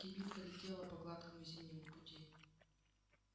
кибитка летела по гладкому зимнему пути